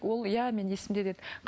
ол иә менің есімде деді